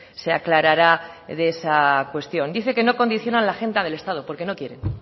se aclarará de esa cuestión dice que no condicionan la agenda del estado porque no quieren